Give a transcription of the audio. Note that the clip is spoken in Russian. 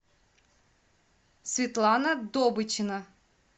светлана добычина